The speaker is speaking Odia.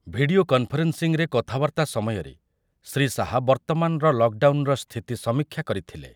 ଭିଡ଼ିଓ କନ୍‌ଫରେନ୍‌ସିଂରେ କଥାବାର୍ତ୍ତା ସମୟରେ ଶ୍ରୀ ଶାହା ବର୍ତ୍ତମାନର ଲକଡାଉନର ସ୍ଥିତି ସମୀକ୍ଷା କରିଥିଲେ ।